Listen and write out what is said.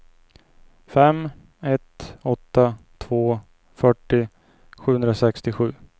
fem ett åtta två fyrtio sjuhundrasextiosju